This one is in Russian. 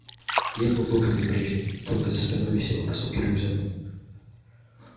одет он был как и прежде только за спиной висел высокий рюкзак